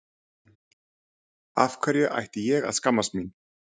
Af hverju ætti ég að skammast mín?